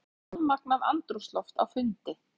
Rafmagnað andrúmsloft á fundi